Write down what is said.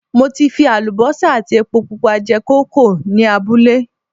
Mo ti fi àlùbọ́sà àti epo pupa jẹ kókò ní abúlé